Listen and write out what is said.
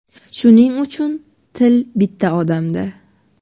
Shuning uchun til bitta odamda.